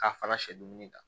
K'a fara sɛ dumuni kan